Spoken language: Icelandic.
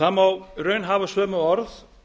það má í raun hafa sömu orð